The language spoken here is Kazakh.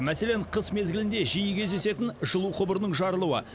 мәселен қыс мезгілінде жиі кездесетін жылу құбырының жарылуы